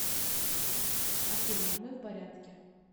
афина мы в порядке